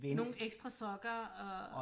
Nogle ekstra sokker og